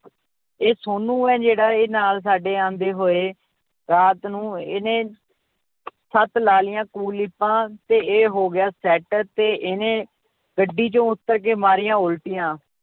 ਇਹ ਸੋਨੂੰ ਹੈ ਜਿਹੜਾ ਇਹ ਨਾਲ ਸਾਡੇ ਆਉਂਦੇ ਹੋਏ ਰਾਤ ਨੂੰ ਇਹਨੇ ਸੱਤ ਲਾ ਲਈਆਂ ਕੁਲੀਪਾਂ ਤੇ ਇਹ ਹੋ ਗਿਆ set ਤੇ ਇਹਨੇ ਗੱਡੀ ਚੋਂ ਉੱਤਰ ਕੇ ਮਾਰੀਆਂ ਉੱਲਟੀਆਂ,